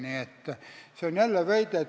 Nii et see on jälle väide.